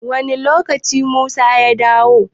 Wani lokaci musa ya dawo?